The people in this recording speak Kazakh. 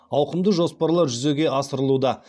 ауқымды жоспарлар жүзеге асырылуда